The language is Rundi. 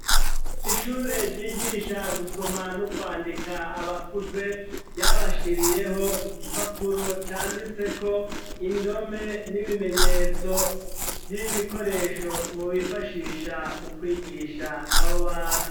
Ishure ryigisha gusoma no kwandika abakuze ryabashiriyeho igipapuro canditse ko indome n'ibimenyetso vy'ibikoresho bobifashisha mu kwigisha abo bantu.